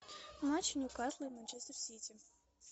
матч ньюкасла и манчестер сити